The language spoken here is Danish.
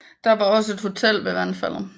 Der var også et hotel ved vandfaldet